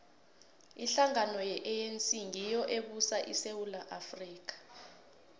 ihlangano ye anc ngiyo ebusa isewula afrika